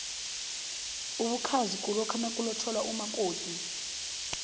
ubukhazi kulokha nakulotjolwa umakofi